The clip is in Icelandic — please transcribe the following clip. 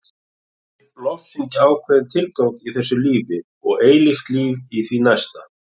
Þeir lofsyngja ákveðinn tilgang í þessu lífi og eilíft líf í því næsta.